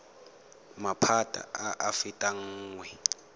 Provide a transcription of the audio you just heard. maphata a a fetang nngwe